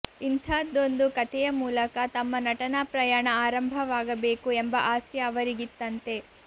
ಇಂಥದ್ದೊಂದು ಕಥೆಯ ಮೂಲಕ ತಮ್ಮ ನಟನಾಪ್ರಯಾಣ ಆರಂಭವಾಗಬೇಕು ಎಂಬ ಆಸೆ ಅವರಿಗಿತ್ತಂತೆ